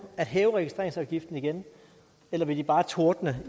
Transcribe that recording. at hæve registreringsafgiften igen eller vil de bare tordne